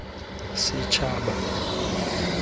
setshaba